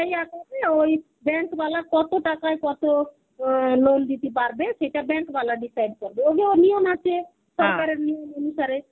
সেই আদতে ওই ব্যাঙ্ক ওলা কত টাকায় কতো ইয়া loan দিতি পারবে সেটা bank ওলা depend করবে. ওইজো নিয়ম আছে সরকারের নিয়ম অনুসারে.